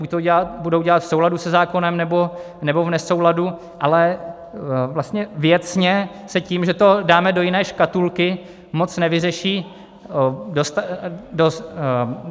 Buď to budou dělat v souladu se zákonem, nebo v nesouladu, ale vlastně věcně se tím, že to dáme do jiné škatulky, moc nevyřeší.